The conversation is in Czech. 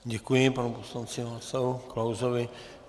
Děkuji panu poslanci Václavu Klausovi.